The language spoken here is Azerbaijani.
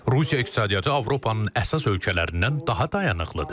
Rusiya iqtisadiyyatı Avropanın əsas ölkələrindən daha dayanıqlıdır.